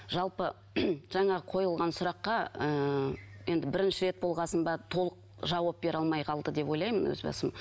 жалпы жаңағы қойылған сұраққа ыыы енді бірінші рет болған соң ба толық жауап бере алмай қалды деп ойлаймын өз басым